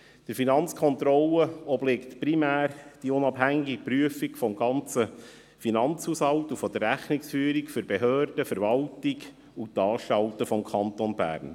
Der Finanzkontrolle obliegt primär die unabhängige Prüfung des ganzen Finanzhaushalts und der Rechnungsführung der Behörden, der Verwaltung und der Anstalten des Kantons Bern.